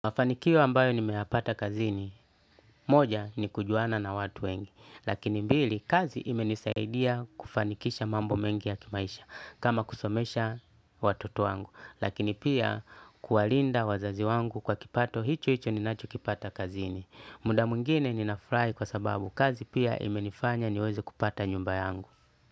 Mafanikio ambayo nimeyapata kazini, moja ni kujuana na watu wengi, lakini mbili, kazi imenisaidia kufanikisha mambo mengi ya kimaisha, kama kusomesha watoto wangu, lakini pia kuwalinda wazazi wangu kwa kipato, hicho hicho ni nacho kipata kazini. Muda mwingine ninafurahi kwa sababu, kazi pia imenifanya niweze kupata nyumba yangu.